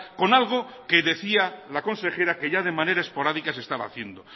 con algo que decía la consejera que ya de manera esporádica se estaba haciendo